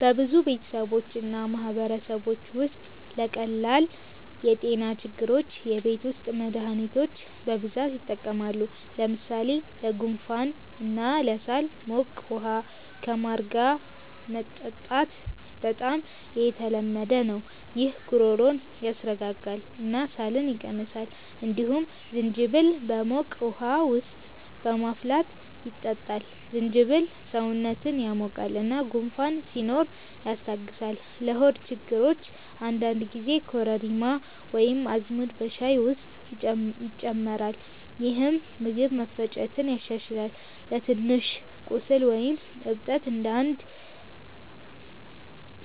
በብዙ ቤተሰቦች እና ማህበረሰቦች ውስጥ ለቀላል የጤና ችግሮች የቤት ውስጥ መድሃኒቶች በብዛት ይጠቀማሉ። ለምሳሌ ለጉንፋን እና ለሳል ሞቅ ውሃ ከማር ጋር መጠጣት በጣም የተለመደ ነው። ይህ ጉሮሮን ያስረጋጋል እና ሳልን ይቀንሳል። እንዲሁም ዝንጅብል በሞቅ ውሃ ውስጥ በማፍላት ይጠጣል። ዝንጅብል ሰውነትን ያሞቃል እና ጉንፋን ሲኖር ያስታግሳል። ለሆድ ችግሮች አንዳንድ ጊዜ ኮረሪማ ወይም አዝሙድ በሻይ ውስጥ ይጨመራል፣ ይህም ምግብ መፈጨትን ያሻሽላል። ለትንሽ ቁስል ወይም እብጠት አንዳንድ